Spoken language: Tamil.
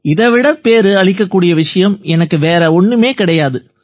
இதை விட பேறு அளிக்கக்கூடிய விஷயம் எனக்கு வேறு ஒண்ணுமே கிடையாது